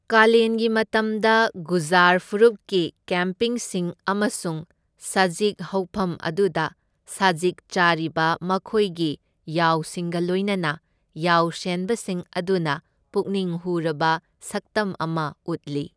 ꯀꯥꯂꯦꯟꯒꯤ ꯃꯇꯝꯗ, ꯒꯨꯖꯖꯔ ꯐꯨꯔꯨꯞꯀꯤ ꯀꯦꯝꯞꯁꯤꯡ ꯑꯃꯁꯨꯡ ꯁꯖꯤꯛ ꯍꯧꯐꯝ ꯑꯗꯨꯗ ꯁꯖꯤꯛ ꯆꯥꯔꯤꯕ ꯃꯈꯣꯏꯒꯤ ꯌꯥꯎꯁꯤꯡꯒ ꯂꯣꯏꯅꯅ ꯌꯥꯎꯁꯦꯟꯕꯁꯤꯡ ꯑꯗꯨꯅ ꯄꯨꯛꯅꯤꯡ ꯍꯨꯔꯕ ꯁꯛꯇꯝ ꯑꯃ ꯎꯠꯂꯤ꯫